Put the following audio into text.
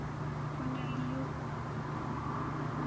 go na le yo o